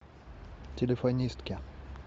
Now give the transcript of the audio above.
телефонистки